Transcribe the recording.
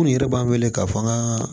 N yɛrɛ b'an wele k'a fɔ an ka